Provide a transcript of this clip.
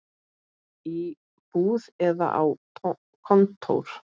Í búð eða á kontór.